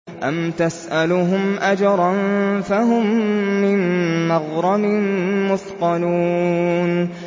أَمْ تَسْأَلُهُمْ أَجْرًا فَهُم مِّن مَّغْرَمٍ مُّثْقَلُونَ